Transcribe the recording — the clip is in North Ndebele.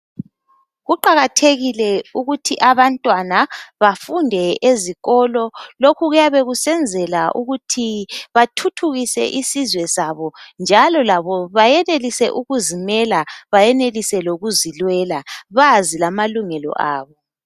Kuqakathekile ukuthi abantwana bafunde ezikolo lokhu kuyabe kusenzela ukuthi bathuthukise isizwe sabo njalo labo bayenelise ukuzimela bayenelise lokuzilwela bazi lamalungelo abo.